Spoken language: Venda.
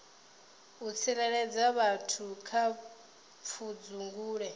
u tsireledza vhathu kha pfudzungule